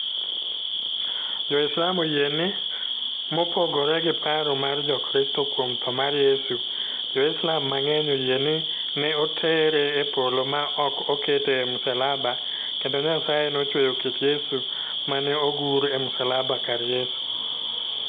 Jo-Islam oyie ni, mopogore gi paro mar Jokristo kuom tho mar Yesu, Jo-Islam mang'eny oyie ni ne otere e Polo ma ok okete e msalaba kendo Nyasaye nochweyo kit Yesu ma ne ogur e msalaba kar Yesu.